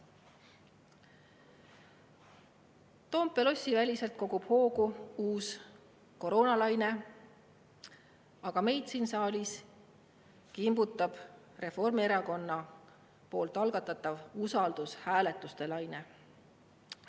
Toompea lossi väliselt kogub hoogu uus koroonalaine, aga meid siin saalis kimbutab Reformierakonna algatatav usaldushääletuste laine.